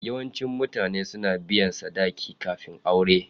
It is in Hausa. Yawancin mutane suna biyan sadaki kafin aure.